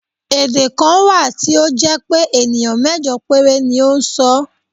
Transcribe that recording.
Èdè kan wà tí ó jẹ́ pé ènìyàn mẹ́jọ péré ni ó ń sọ ọ́.